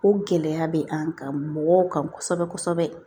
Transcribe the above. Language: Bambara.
O gɛlɛya bɛ an kan mɔgɔw kan kosɛbɛ kosɛbɛ